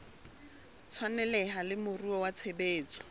tshwaneleha le moruo wa tshebetso